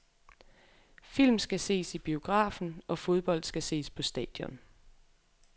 Film skal ses i biografen, og fodbold skal ses på stadion.